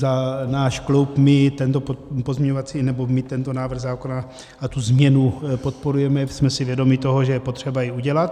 Za náš klub - my tento pozměňovací, nebo my tento návrh zákona a tu změnu podporujeme, jsme si vědomi toho, že je potřeba ji udělat.